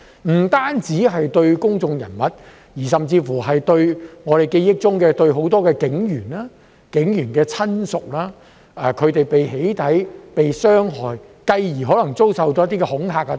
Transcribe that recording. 不單公眾人物，甚至——我們記憶中——很多警員和警員的親屬都被"起底"和傷害，繼而可能遭受恐嚇等。